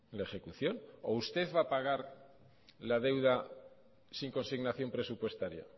la ejecución o usted va a pagar la deuda sin consignación presupuestaria